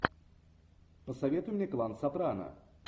посоветуй мне клан сопрано